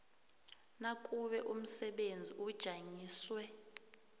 nakube umsebenzi ujanyiswe